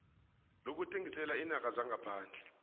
lokuthengisela iinarha zangaphandle